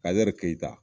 Kazɛri keyita